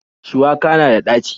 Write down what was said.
Shuwaka na da ɗaci.